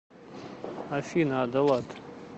афина адолат